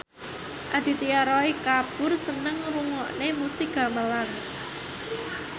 Aditya Roy Kapoor seneng ngrungokne musik gamelan